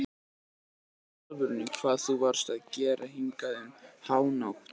Segðu mér í alvöru hvað þú varst að gera hingað um hánótt.